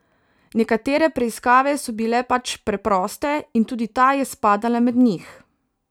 Nekatere preiskave so bile pač preproste in tudi ta je spadala med njih.